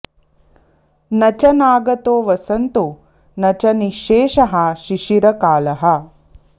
न च नागतो वसन्तो न च निःशेषः शिशिरकालः